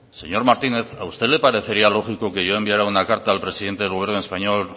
señor martínez a usted la parecería lógico que yo enviará una carta al presidente del gobierno español